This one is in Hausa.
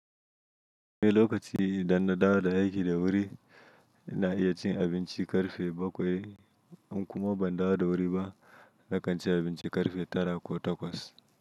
Mene lokaci danna dawa da yaƙi da wuri na iya cin abinci karfe bakwai, an kuma ban dawa da wuri ba na kanci abinci karfe tara ko takwas.